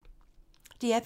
DR P3